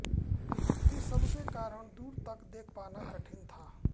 इस सबके कारण दूर तक देख पाना कठिन था